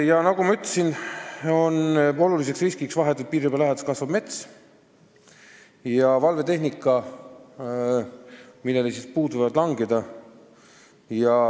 Aga nagu ma ütlesin, põhiline risk on vahetult piiririba läheduses kasvav mets – puud võivad langeda valvetehnika peale.